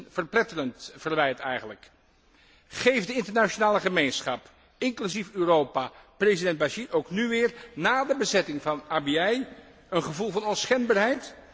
Dat is een verpletterend verwijt eigenlijk. Geeft de internationale gemeenschap, inclusief Europa, president al Bashir ook nu weer, na de bezetting van Abyei, een gevoel van onschendbaarheid?